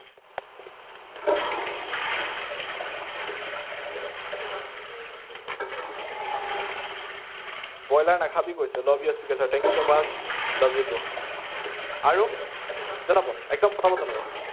Broiler নাখাবি কৈছে, love you speaker sir, thank you so much love you too আৰু জনাব, একদম পটাপট জনাব।